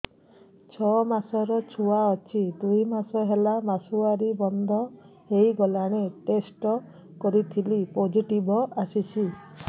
ଛଅ ମାସର ଛୁଆ ଅଛି ଦୁଇ ମାସ ହେଲା ମାସୁଆରି ବନ୍ଦ ହେଇଗଲାଣି ଟେଷ୍ଟ କରିଥିଲି ପୋଜିଟିଭ ଆସିଛି